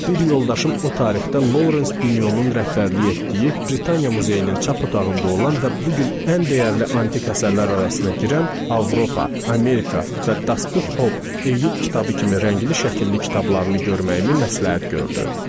Bir yoldaşım o tarixdə Lawrence Binyonun rəhbərlik etdiyi Britaniya Muzeyinin çap otağında olan və bu gün ən dəyərli antik əsərlər arasına girən Avropa, Amerika və Daspub Hob Eyub kitabı kimi rəngli şəkilli kitablarını görməyimi məsləhət gördü.